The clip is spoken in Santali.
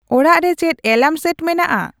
ᱚᱲᱟᱜ ᱨᱮ ᱪᱮᱫ ᱮᱞᱟᱨᱢ ᱥᱮᱴ ᱢᱮᱱᱟᱜᱼᱟ